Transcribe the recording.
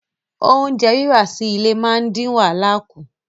Oúnjẹ rírà sí ilé máa ń dín wàhálà kù